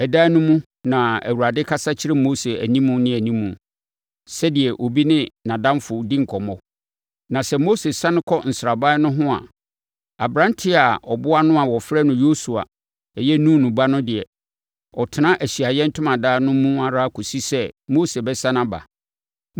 Ɛdan no mu, na Awurade kasa kyerɛ Mose animu ne animu, sɛdeɛ obi ne nʼadamfo di nkɔmmɔ. Na sɛ Mose sane kɔ nsraban no hɔ a, aberanteɛ a ɔboa no a wɔfrɛ no Yosua (Nun ba) no deɛ, ɔtena Ahyiaeɛ Ntomadan no mu ara kɔsi sɛ Mose bɛsane aba.